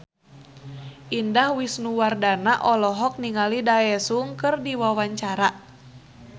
Indah Wisnuwardana olohok ningali Daesung keur diwawancara